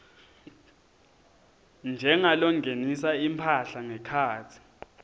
njengalongenisa imphahla ngekhatsi